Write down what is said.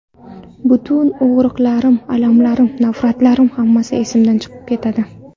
Butun og‘riqlarim, alamlarim, nafratlarim hammasi esimdan chiqib ketadi.